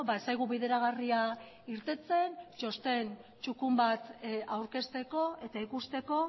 ez zaigu bideragarria irteten txosten txukun bat aurkezteko eta ikusteko